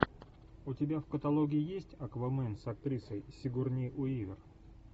у тебя в каталоге есть аквамен с актрисой сигурни уивер